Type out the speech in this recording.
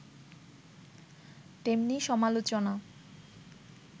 তেমনি সমালোচনা